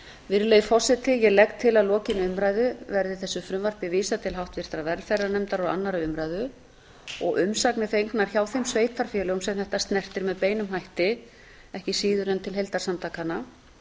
virðulegi forseti ég legg til að lokinni umræðu verði þessu frumvarpi vísað til háttvirtrar velferðarnefndar og annarrar umræðu og umsagnir fengnar hjá þeim sveitarfélögum sem þetta snertir með beinum hætti ekki síður en til heildarsamtakanna